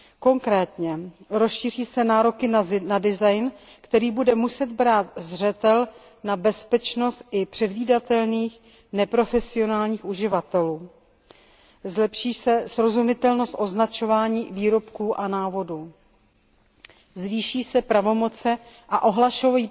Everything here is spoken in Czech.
Konkrétně se rozšíří nároky na design, který bude muset brát zřetel na bezpečnost i předvídatelných neprofesionálních uživatelů, zlepší se srozumitelnost označovaní výrobků a návodů a zvýší se pravomoci a ohlašovací